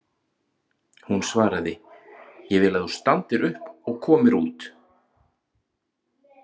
Hún svaraði: Ég vil að þú standir upp og komir út.